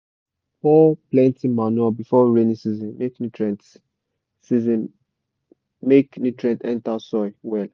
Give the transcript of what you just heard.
we dey pour plenty manure before rainy season make nutrient season make nutrient enter soil well.